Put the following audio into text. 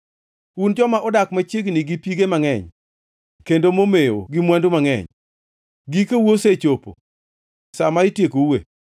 Un joma odak machiegni gi pige mangʼeny kendo momewo gi mwandu mangʼeny, gikou osechopo, sa ma itiekoue.